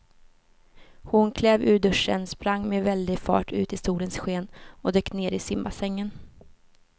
Hon klev ur duschen, sprang med väldig fart ut i solens sken och dök ner i simbassängen.